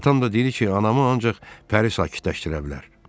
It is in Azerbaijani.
Atam da deyir ki, anamı ancaq Pəri sakitləşdirə bilər.